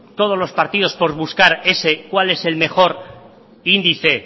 todos los partidos por buscar cuál es el mejor índice